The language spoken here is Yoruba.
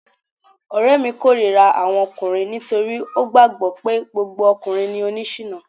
Ọ̀rẹ́ mi k'órira àwọn ọkùnrin nítorí ó gbàgbọ́ pé gbogbo ọkùnrin ni oni ṣìná